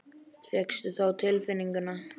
Fékkstu það á tilfinninguna?